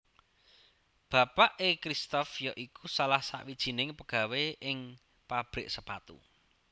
Bapaké Cristoph ya iku salah sawijing pegawe ing pabrik sepatu